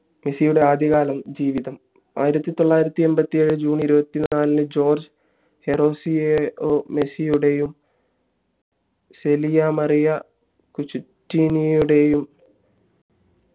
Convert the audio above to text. മെസ്സിയുടെ ആദ്യ കാല ജീവിതം ആയിരത്തി തൊള്ളായിരത്തി എൺപത്തി ഏഴിൽ june ഇരുവത്തി നാലിന് ജോർജ് ഹെറോസിയോ മെസ്സിയുടെയും സെലിയാ മറിയ കുചിറ്റീനിയുടെയും